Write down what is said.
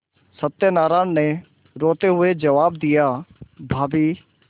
सत्यनाराण ने रोते हुए जवाब दियाभाभी